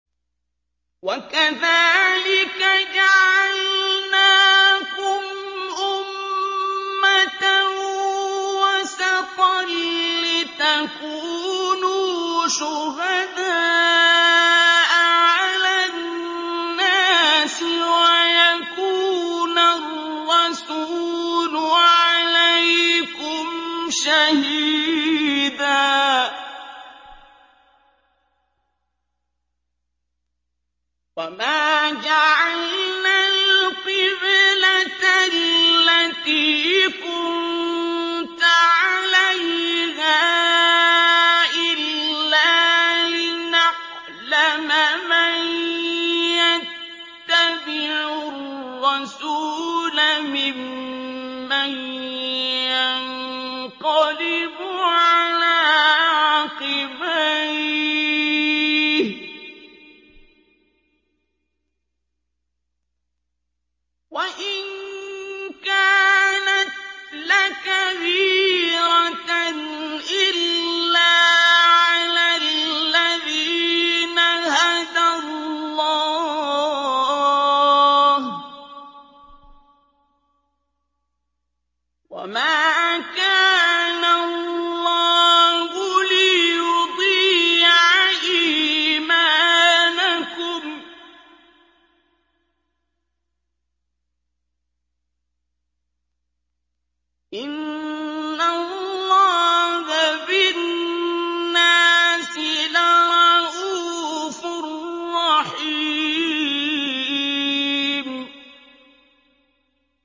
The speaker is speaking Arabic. وَكَذَٰلِكَ جَعَلْنَاكُمْ أُمَّةً وَسَطًا لِّتَكُونُوا شُهَدَاءَ عَلَى النَّاسِ وَيَكُونَ الرَّسُولُ عَلَيْكُمْ شَهِيدًا ۗ وَمَا جَعَلْنَا الْقِبْلَةَ الَّتِي كُنتَ عَلَيْهَا إِلَّا لِنَعْلَمَ مَن يَتَّبِعُ الرَّسُولَ مِمَّن يَنقَلِبُ عَلَىٰ عَقِبَيْهِ ۚ وَإِن كَانَتْ لَكَبِيرَةً إِلَّا عَلَى الَّذِينَ هَدَى اللَّهُ ۗ وَمَا كَانَ اللَّهُ لِيُضِيعَ إِيمَانَكُمْ ۚ إِنَّ اللَّهَ بِالنَّاسِ لَرَءُوفٌ رَّحِيمٌ